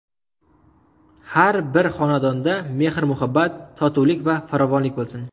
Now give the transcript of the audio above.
Har bir xonadonda mehr-muhabbat, totuvlik va farovonlik bo‘lsin.